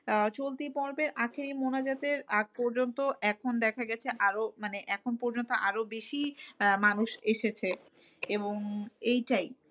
আহ চলতি পর্বের আখেরি মোনাজাতের আজ পর্যন্ত এখন দেখা গেছে আরও মানে এখন পর্যন্ত আরো বেশি আহ মানুষ এসেছে। এবং এইটাই